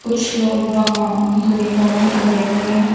कुछ लोग वहां यूनिफॉर्म में खड़े हुए हैं।